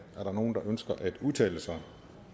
er der nogen der ønsker at udtale sig